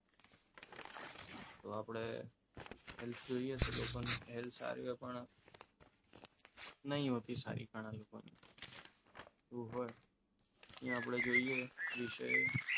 તો આપણે health જોઈએ તો લોકોને health સારી છે પણ નહીં હોતી સારી ઘણા લોકોની અહીંયા આપણે જોઈએ વિષય